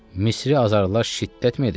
Misri azarlar şiddətmi edəcək?